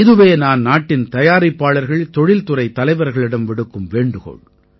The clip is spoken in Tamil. இதுவே நான் நாட்டின் தயாரிப்பாளர்கள்தொழில்துறைத் தலைவர்களிடம் விடுக்கும் வேண்டுகோள்